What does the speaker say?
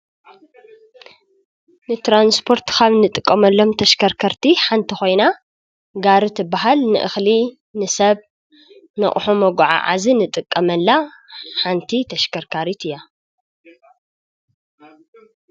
ንትራንስፖርት ካብ እንጥቀመሉም ተሽከርከርቲ ሓንቲ ኮይና ጋሪ ትበሃል ንእክሊ ንሰብ ንአቅሑ መጎዓዓዚ ንጥቀመላ ሓንቲ ተሽከርካሪቲ እያ፡፡